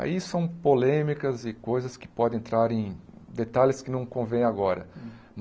Aí são polêmicas e coisas que podem entrar em detalhes que não convêm agora.